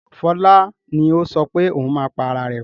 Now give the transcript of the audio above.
Fọlá ni ó sọ pé ohun máa pa ara rẹ̀.